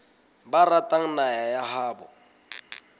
ba ratang naha ya habo